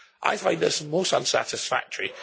I find this most unsatisfactory.